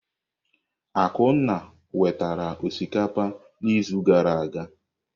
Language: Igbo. Akunna wetara osikapa n'izu gara aga.